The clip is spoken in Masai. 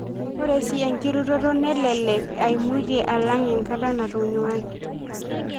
Ore sii enkiroroto nelelek eimutie alang enkata natanyuaki.